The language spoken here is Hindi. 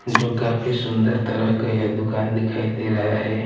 जो काफी सुंदर तरह का यह दुकान दिखाई दे रहा है।